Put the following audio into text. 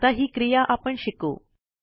आता ही क्रिया आपण शिकू